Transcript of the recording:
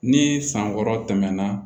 Ni san wɔɔrɔ tɛmɛna